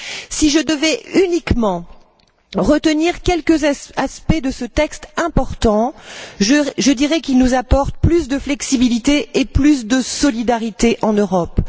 Si je devais uniquement retenir quelques aspects de ce texte important, je dirais qu'il nous apporte plus de flexibilité et plus de solidarité en Europe.